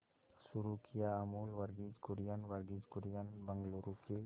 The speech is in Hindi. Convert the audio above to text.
शुरू किया अमूल वर्गीज कुरियन वर्गीज कुरियन बंगलूरू के